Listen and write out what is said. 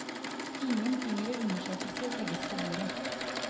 Ingen tyngre undersøkelser legges på bordet.